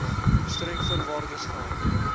streng voorwaardes geld